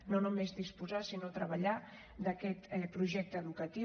no només disposar sinó treballar aquest projecte educatiu